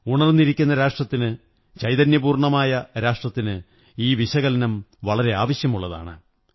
ഉണര്ന്നി രിക്കുന്ന രാഷ്ട്രത്തിന് ചൈതന്യപൂര്ണ്ണനമായ രാഷ്ട്രത്തിന് ഈ വിശകലനം വളരെ ആവശ്യമുള്ളതാണ്